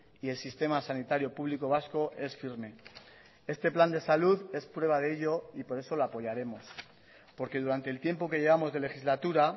y el sistema sanitario público vasco es firme este plan de salud es prueba de ello y por eso lo apoyaremos porque durante el tiempo que llevamos de legislatura